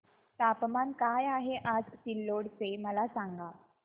तापमान काय आहे आज सिल्लोड चे मला सांगा